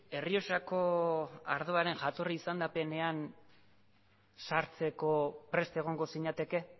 errioxako ardoaren jatorri izendapenean sartzeko prest egongo zinateke